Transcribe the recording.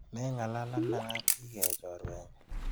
Meng'alalena ak biik eeh choruenyu.